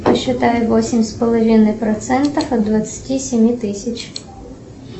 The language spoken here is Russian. посчитай восемь с половиной процентов от двадцати семи тысяч